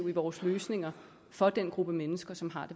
vores løsninger for den gruppe mennesker som har